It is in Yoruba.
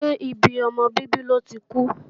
Ṣé ibi ọmọ bíbí lọ́ ti kú?